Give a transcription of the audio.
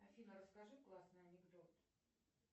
афина расскажи классный анекдот